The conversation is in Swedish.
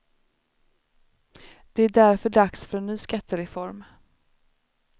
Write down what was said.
Det är därför dags för en ny skattereform.